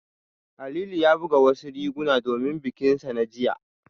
Halilu ya buga wasu riguna domin bikinsa na jiya